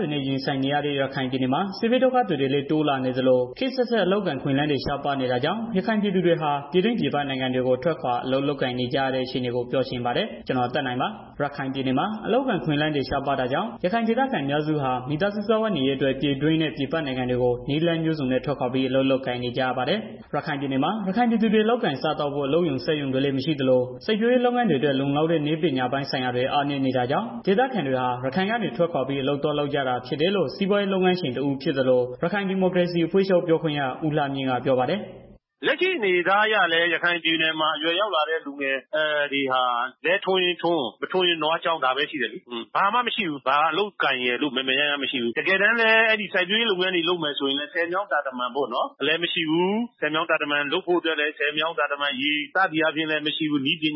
တွေနဲ့ ရင်ဆိုင်နေရတဲ့ ရခိုင်ပြည်နယ်မှာ စစ်ဘေးဒုက္ခသည်တွေလည်း တိုလာနေသလို ခေတ် အဆက်အဆက် အလုပ်အကိုင်အခွင့်အလမ်းတွေ ရှားပါးနေတာကြောင့် ရခိုင်ပြည်သူတွေဟာ ပြည်တွင်း ပြည်ပနိုင်ငံတွေကို ထွက်ခွာအလုပ်လုပ်ကိုင်နေကြရတဲ့ အခြေအနေကို ပြောချင်ပါတယ်။ ဗွီအိုအေမြန်မာပိုင်း သတင်းထောက် ကိုသက်နိုင်က သတင်းပေးပို့ထားပါတယ်။ ရခိုင်ပြည်နယ်မှာ အလုပ်အကိုင် အခွင့်အလမ်းတွေ ရှားပါးတာကြောင့် ရခိုင်ဒေသခံအများစုဟာ မိသားစုစားဝတ်နေရေးအတွက် ပြည်တွင်းနဲ့ ပြည်ပနိုင်ငံတွေကို နည်းလမ်းမျိုးစုံနဲ့ ထွက်ခွာပြီး အလုပ်လုပ်ကိုင်နေကြရပါတယ်။ ရခိုင်ပြည်နယ်မှာ ရခိုင်ပြည်သူတွေ လုပ်ကိုင်စားသောက်ဖို့ အလုပ်ရုံ၊ စက်ရုံတွေလည်း မရှိသလို စိုက်ပျိုးရေး လုပ်ငန်းတွေအတွက် လုံလောက်တဲ့ နည်းပညာပိုင်းဆိုင်ရာတွေ အားနည်းနေတာကြောင့် ဒေသခံတွေဟာ ရခိုင်ကနေ ထွက်ခွာပြီး အလုပ်သွားလုပ်ကြတာဖြစ်တယ်လို့ စီးပွားရေးလုပ်ငန်းရှင်တစ်ဦးဖြစ်သလို ရခိုင်ဒီမိုကရေစီအဖွဲ့ချုပ် ပြောခွင့်ရ ဦးလှမြင့်က ပြောပါတယ်။ "လက်ရှိအနေအထားအလည်း ရခိုင်ပြည်နယ်မှာ အရွယ်ရောက်လာတဲ့ သူတွေ လယ်ထွန်ရင်ထွန်၊ မထွန်ရင် နွားကျောင်း ဒါပဲ ရှိတယ်။ ဘာမှမရှိဘူး ဘာအလုပ်အကိုင်ရယ်လို့ မယ်မယ်ရရမရှိဘူး။ တကယ်တမ်းလည်း အဲဒီစိုက်ပျိုးရေး လုပ်ငန်းတွေ လုပ်မယ်ဆိုရင် ဆည်မြောင်းတာတမန်တွေလည်း မရှိဘူး၊ နည်းပ